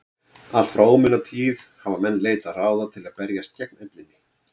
allt frá ómunatíð hafa menn leitað ráða til að berjast gegn ellinni